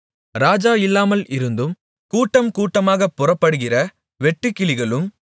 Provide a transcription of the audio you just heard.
ராஜா இல்லாமல் இருந்தும் கூட்டம் கூட்டமாகப் புறப்படுகிற வெட்டுக்கிளிகளும்